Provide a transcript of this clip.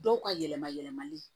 Dɔw ka yɛlɛma yɛlɛmali